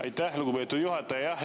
Aitäh, lugupeetud juhataja!